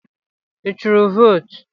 Ị turu votu?